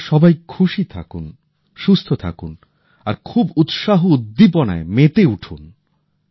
আপনারা সবাই খুশি থাকুন সুস্থ থাকুন আর খুব উৎসাহ উদ্দীপনায় মেতে উঠুন